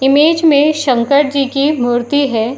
Image में शंकर जी की मूर्ति है।